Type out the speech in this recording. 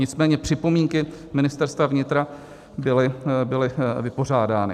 Nicméně připomínky Ministerstva vnitra byly vypořádány.